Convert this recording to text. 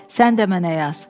Sən də mənə yaz.